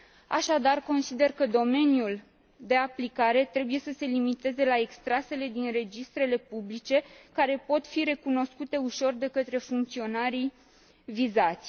Așadar, consider că domeniul de aplicare trebuie să se limiteze la extrasele din registrele publice care pot fi recunoscute ușor de către funcționarii vizați.